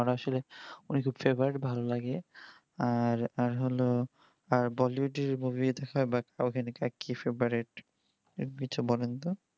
আমার আসলে ওই দুই favor ভালো লাগে আর আর হলো আর bollywood এর movie দেখা বা সাউথ আরকি favrouite